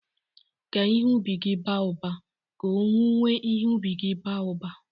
"Ka ihe ubi gị ba ụba, ka owuwe ihe ubi gị ba uba"